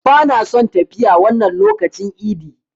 Bana son yin tafiya wannan lokacin idi.